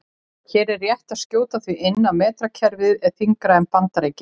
Hér er rétt að skjóta því inn að metrakerfið er yngra en Bandaríkin.